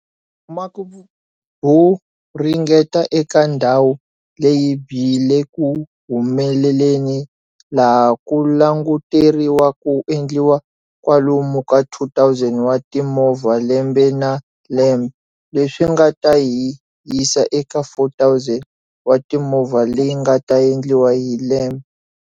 Vumaki byo ringeta eka ndhawu leyi byi le ku humeleleni laha ku languteriwa ku endliwa kwalomu ka 2 000 wa timovha lembe na lembe, leswi nga ta hi yisa eka 4 000 watimovha leyi nga ta endliwa hi lembe.